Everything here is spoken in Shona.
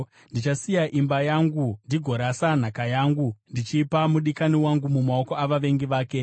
“Ndichasiya imba yangu, ndigorasa nhaka yangu; ndichapa mudikani wangu mumaoko avavengi vake.